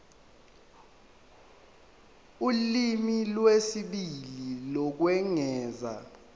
ulimi lwesibili lokwengeza